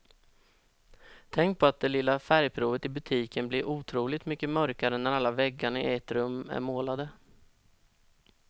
Tänk på att det lilla färgprovet i butiken blir otroligt mycket mörkare när alla väggarna i ett rum är målade.